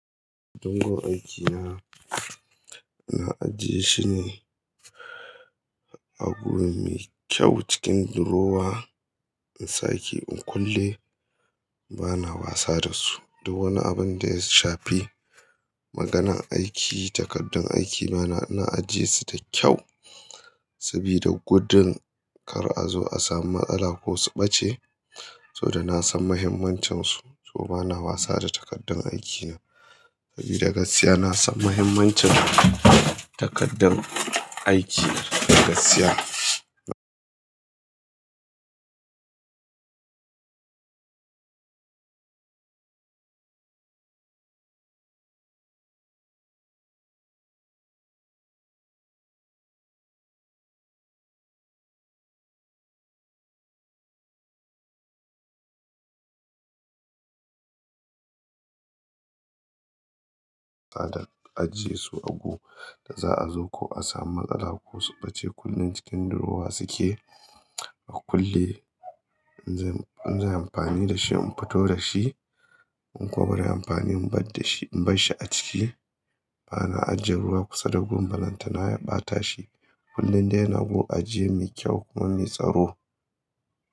Katangon aikina, na ajiye shine a guri mai kyau cikin durowa in sake in kulle. Bana wasa da su. Duk wani abin da ya shafi maganan aiki, takardun aiki na, ina ajiye su da kyau sabida gudun kar a zo a samu matsala ko su ɓace. Soboda na san mahimmancinsu, so bana wasa da takardun aikina. Sabida gaskiya na san mahimmancin takardar aiki. Gaskiya. Tada ajiye su a gu da za'a zo ko a samu matsala ko su ɓace kullum cikin durowa suke a kulle. In zai, in zai amfani da shi, in fito da shi. In kuwa baran amfani in bar da shi, in bar shi a ciki. Bana ajje ruwa kusa da gum ballan ta na ya ɓata shi. Kullum dai ya na gu ajiye mai kyau kuma mai tsaro.